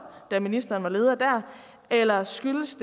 da ministeren var leder der eller skyldtes